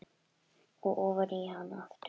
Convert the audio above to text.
Og ofan í hana aftur.